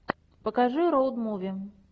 покажи роуд муви